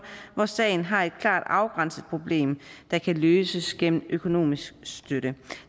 når sagen har et klart afgrænset problem der kan løses gennem økonomisk støtte